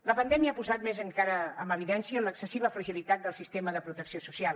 la pandèmia ha posat més encara en evidència l’excessiva fragilitat del sistema de protecció social